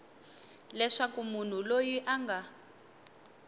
leswaku munhu loyi a nga